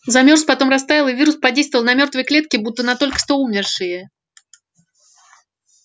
замёрз потом растаял и вирус подействовал на мёртвые клетки будто на только что умершие